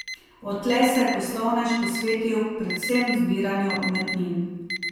Odtlej se je poslovnež posvetil predvsem zbiranju umetnin.